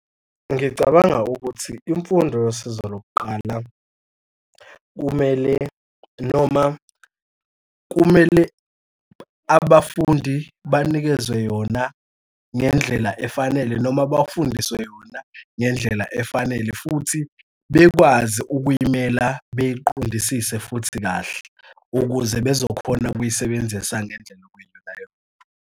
Ngicabanga ukuthi imfundo yosizo lokuqala kumele, noma kumele abafundi banikezwe yona ngendlela efanele noma bafundiswe yona ngendlela efanele. Futhi bekwazi ukuyimela beyiqondisise futhi kahle ukuze bezokhona ukuyisebenzisa ngendlela okuyiyonayona.